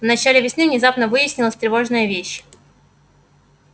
в начале весны внезапно выяснилась тревожная вещь